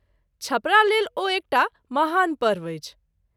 छपरा लेल ओ एकटा महान पर्व अछि।